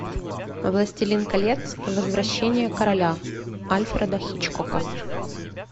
властелин колец возвращение короля альфреда хичкока